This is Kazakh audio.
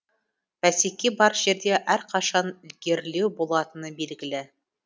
бәсеке бар жерде әрқашан ілгерілеу болатыны белгілі